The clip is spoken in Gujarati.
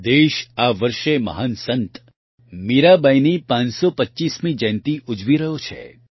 દેશ આ વર્ષે મહાન સંત મીરાબાઇની પાંચસો પચ્ચીસમી જયંતિ ઉજવી રહ્યો છે